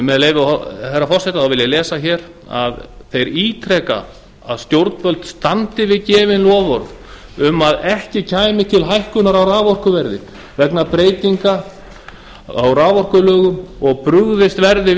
með leyfi hæstvirts forseta vil ég lesa hér að þeir ítreka að stjórnvöld standi við gefin loforð um að ekki kæmi til hækkunar á raforkuverði vegna breytinga á raforkulögum og brugðist verði